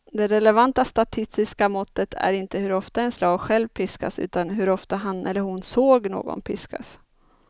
Det relevanta statistiska måttet är inte hur ofta en slav själv piskas utan hur ofta han eller hon såg någon piskas.